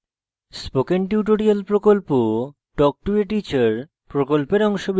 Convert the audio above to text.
spoken tutorial প্রকল্প talk to a teacher প্রকল্পের অংশবিশেষ